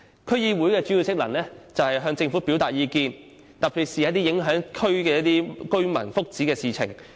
區議會的主要職能是向政府表達意見，特別是一些影響區內居民福祉的事情。